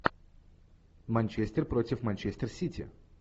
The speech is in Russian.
манчестер против манчестер сити